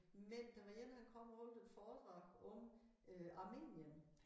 Men der var én han kom og holdt et foredrag om øh Armenien